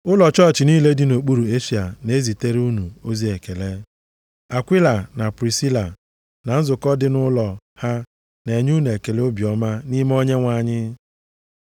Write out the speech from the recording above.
Ụlọ chọọchị niile dị nʼokpuru Eshịa na-ezitere unu ozi ekele. Akwila na Prisila, na nzukọ dị nʼụlọ ha na-enye unu ekele obiọma nʼime Onyenwe anyị.